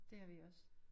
Det har vi også